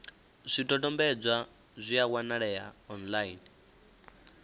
zwidodombedzwa zwi a wanalea online